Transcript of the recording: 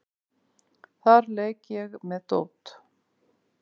Þar leik ég með dót.